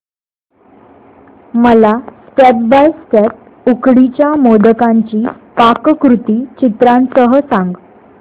मला step by step उकडीच्या मोदकांची पाककृती चित्रांसह सांग